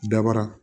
Dabara